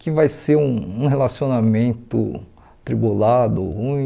que vai ser um um relacionamento tribulado, ruim.